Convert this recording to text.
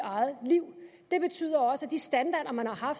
eget liv det betyder også at de standarder man har